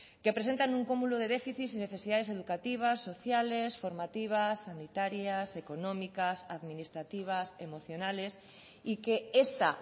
que presentan un cúmulo de déficits y necesidades educativas sociales formativas sanitarias económicas administrativas emocionales y que esta